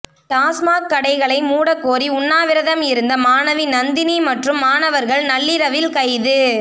டாஸ்மாக் கடைகளை மூடக்கோரி உண்ணாவிரதம் இருந்த மாணவி நந்தினி மற்றும் மாணவர்கள் நள்ளிரவில் கைது